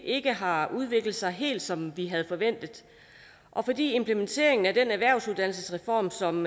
ikke har udviklet sig helt som vi havde forventet og fordi implementeringen af den erhvervsuddannelsesreform som